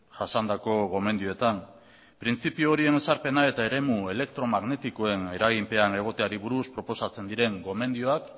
jasandako gomendioetan printzipio horien ezarpena eta eremu elektromagnetikoen eraginpean egoteari buruz proposatzen diren gomendioak